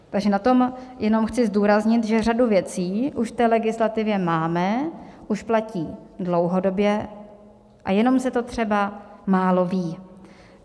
Takže na tom jenom chci zdůraznit, že řadu věcí už v té legislativě máme, už platí dlouhodobě a jenom se to třeba málo ví.